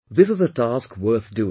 This is a task worth doing